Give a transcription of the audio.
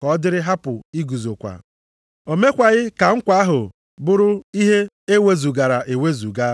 ka ọ dịrị hapụ iguzokwa, o mekwaghị ka nkwa ahụ bụrụ ihe e wezugara ewezuga.